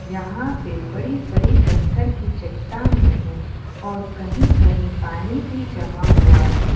यहां पे बड़ी बड़ी पत्थर की चट्टानें है और कही कही पानी भी जमा हुआ है।